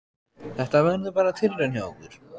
Þetta verður bara tilraun hjá okkur.